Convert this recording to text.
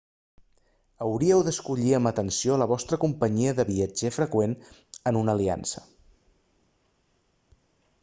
hauríeu d'escollir amb atenció la vostra companyia de viatger freqüent en una aliança